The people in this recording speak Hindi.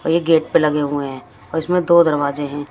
और ये गेट पे लगे हुए हैं और इसमें दो दरवाजे हैं।